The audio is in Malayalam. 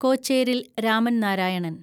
കോച്ചേരിൽ രാമൻ നാരായണൻ